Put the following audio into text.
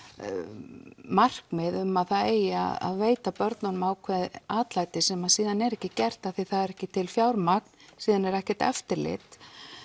markmið um að það eigi að veita börnunum ákveðið atlæti sem síðan er ekki gert því það er ekki til fjármagn síðan er ekkert eftirlit